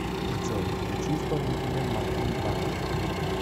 джой включи исполнителя макан банд